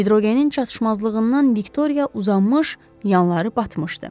Hidrogenin çatışmazlığından Viktoriya uzanmış, yanları batmışdı.